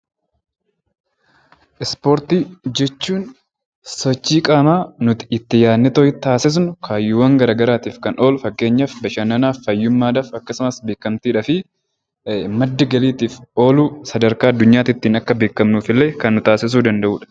Ispoortii jechuun sochii qaamaa nuti iti yaadneetoo taasisnu, kaayyoowwan gara garaatiif kan oolu, fakkeenyaaf bashannanaaf, fayyummaa dhaaf akkasumas beekamtii dhaaf, madda galitiif oolu sadarkaa addunyaatiittiin akka beekamnuf illee kan nu taasisuu danda'u dha.